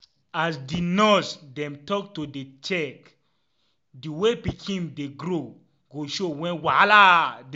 as di nurse dem talk to dey check the way pikin dey grow go show wen wahala dey.